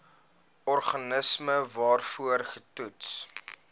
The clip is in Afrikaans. organisme waarvoor getoets